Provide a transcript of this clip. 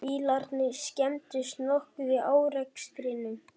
Bílarnir skemmdust nokkuð í árekstrinum